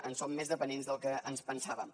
en som més dependents del que ens pensàvem